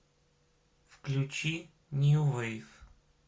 включи нью вейв